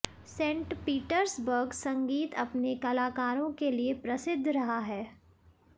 Saint Petersburg संगीत अपने कलाकारों के लिए प्रसिद्ध रहा है